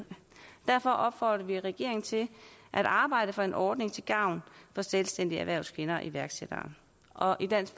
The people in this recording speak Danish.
derfor opfordrer vi regeringen til at arbejde for en ordning til gavn for selvstændige erhvervskvinder iværksættere og i dansk